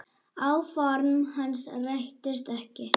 Áform hans rættust ekki.